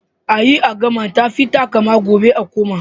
a yi a gama, ta fi takamma, gobe a koma